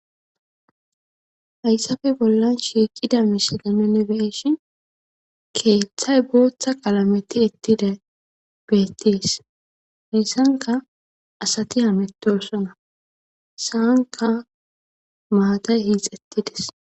hayssafe bollan shiiqida mishila nenne beeeshin keeththay booththa qalameti ettida beettees heessanka asati hametosona saanka maatay hiixettides